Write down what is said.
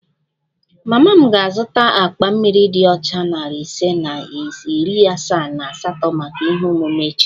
Mama m ga-azụta akpa mmiri dị ọcha narị ise na iri asaa na asatọ maka ihe omume echi